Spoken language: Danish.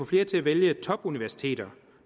flere til at vælge topuniversiteter